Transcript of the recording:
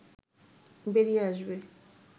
বেরিয়ে আসবে